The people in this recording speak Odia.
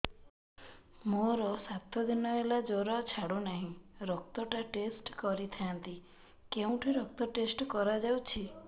ମୋରୋ ସାତ ଦିନ ହେଲା ଜ୍ଵର ଛାଡୁନାହିଁ ରକ୍ତ ଟା ଟେଷ୍ଟ କରିଥାନ୍ତି କେଉଁଠି ରକ୍ତ ଟେଷ୍ଟ କରା ଯାଉଛି